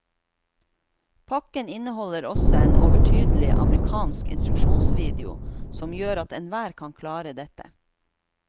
Pakken inneholder også en overtydelig amerikansk instruksjonsvideo som gjør at enhver kan klare dette.